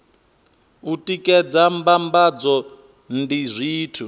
u tikedza mbambadzo ndi zwithu